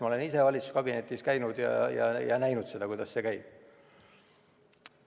Ma olen ise valitsuskabinetis käinud ja näinud, kuidas see käib.